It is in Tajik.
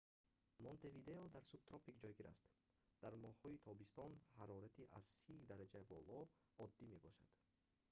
монтевидео дар субтропик ҷойгир аст; дар моҳҳои тобистон ҳарорати аз + 30°c боло оддӣ мебошад